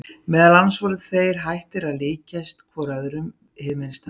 Meðal annars voru þeir hættir að líkjast hvor öðrum hið minnsta.